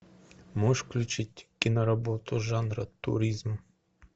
можешь включить киноработу жанра туризм